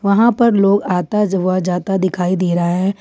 यहां पर लोग आता व जाता दिखाई दे रहा है।